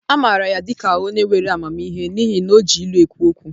A maara ya dị ka onye nwere amamihe n'ihi na o ji ilu ekwu okwu